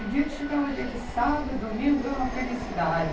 O dia que chegava, dia de sábado, domingo, era uma felicidade.